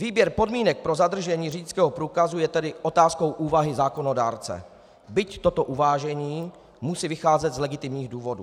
Výběr podmínek pro zadržení řidičského průkazu je tedy otázkou úvahy zákonodárce, byť toto uvážení musí vycházet z legitimních důvodů.